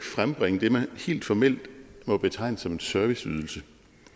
frembringe det man helt formelt må betegne som en serviceydelse